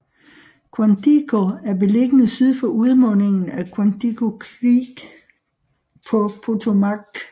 Quantico er beliggende syd for udmundingen af Quantico Creek på Potomac